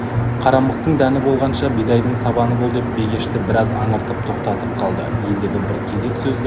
қарамықтың дәні болғанша бидайдың сабаны бол деп бегешті біраз аңыртып тоқтатып қалды ендігі бір кезек сөзді